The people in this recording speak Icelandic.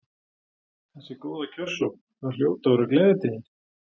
Þessi góða kjörsókn, það hljóta að vera gleðitíðindi?